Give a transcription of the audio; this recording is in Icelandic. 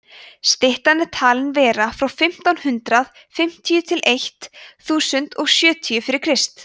styttan er talin vera frá fimmtán hundrað fimmtíu til eitt þúsund og sjötíu fyrir krist